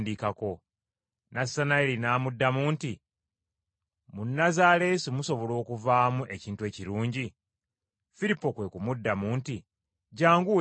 Nassanayiri n’amuddamu nti, “Mu Nazaaleesi musobola okuvaamu ekintu ekirungi?” Firipo kwe kumuddamu nti, “Jjangu weerabireko.”